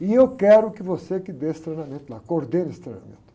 e eu quero que você que dê esse treinamento lá, coordene esse treinamento.